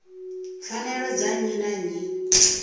pfanelo dza nnyi na nnyi